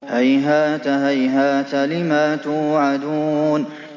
۞ هَيْهَاتَ هَيْهَاتَ لِمَا تُوعَدُونَ